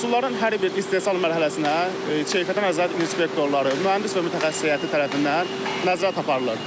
Məhsulların hər bir istehsal mərhələsinə keyfiyyətə nəzarət inspektorları, mühəndis və mütəxəssis heyəti tərəfindən nəzarət aparılır.